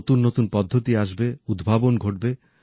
নতুন নতুন পদ্ধতি আসবে উদ্ভাবন ঘটবে